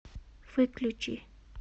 выключи